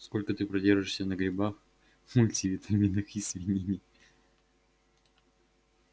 сколько ты продержишься на грибах мультивитаминах и свинине